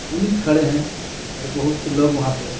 police खड़े हे और बोहोत से लोग वहां पे खड़े--